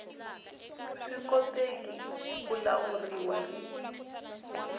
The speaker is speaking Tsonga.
swi koteki ku lawuriwa hi